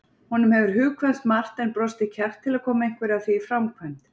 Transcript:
Honum hefur hugkvæmst margt en brostið kjark til að koma einhverju af því í framkvæmd.